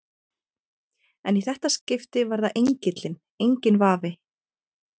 En í þetta skipti var það engillinn, enginn vafi.